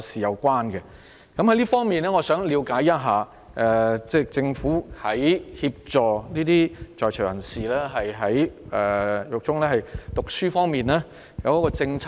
就此，我想了解，政府在協助在囚人士於獄中進修方面，是否訂有鼓勵政策？